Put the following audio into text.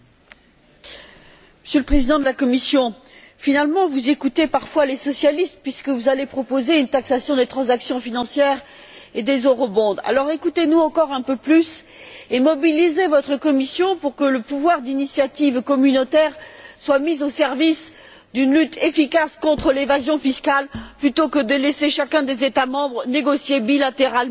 Monsieur le Président, Monsieur le Président de la Commission, finalement vous écoutez parfois les socialistes puisque vous allez proposer une taxation des transactions financières et des Alors écoutez nous encore un peu plus et mobilisez votre Commission pour que le pouvoir d'initiative communautaire soit mis au service d'une lutte efficace contre l'évasion fiscale plutôt que de laisser chacun des États membres négocier bilatéralement